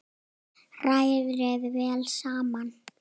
Hrærið vel saman.